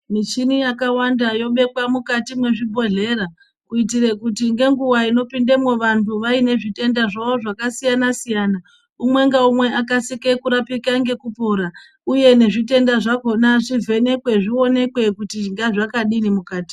Michini yakawanda yobekwa mukati mwezvibhedhlera kuitire kuti ngenguwa inopindemwo vantu vanenge vaine zvitenda zvawo zvakasiyana siyana umwengaumewe akasike kurapika ngekupora uye nezvitenda zvakona zvivhenekwe zvioneke kuti ngazvadini mukati